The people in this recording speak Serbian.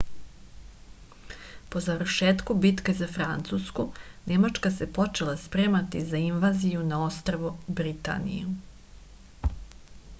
po završetku bitke za francusku nemačka se počela spremati za invaziju na ostrvo britaniju